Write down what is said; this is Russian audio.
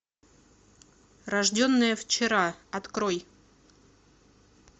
рожденная вчера открой